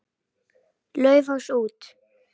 Laufás út.